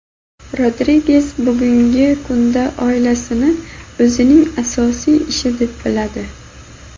Rodriges bugungi kunda oilasini o‘zining asosiy ishi deb biladi.